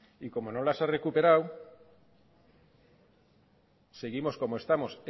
y como no las ha recuperado seguimos como estamos